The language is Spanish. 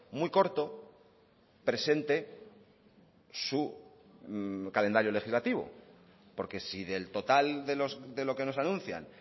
muy corto presente su calendario legislativo porque si del total de lo que nos anuncian